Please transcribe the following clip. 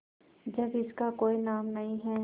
जब इसका कोई नाम नहीं है